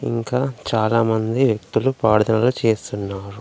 ఇంకా చాలామంది వ్యక్తులు పాడ్దనలు చేస్తున్నారు.